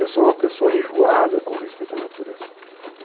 Eu sou uma pessoa enjoada com respeito à natureza.